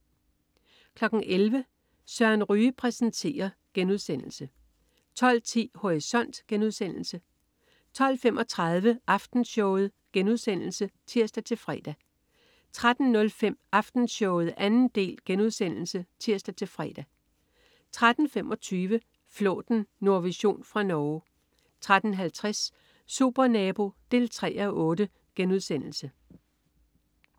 11.00 Søren Ryge præsenterer* 12.10 Horisont* 12.35 Aftenshowet* (tirs-fre) 13.05 Aftenshowet 2. del* (tirs-fre) 13.25 Flåten. Nordvision fra Norge 13.50 Supernabo 3:8*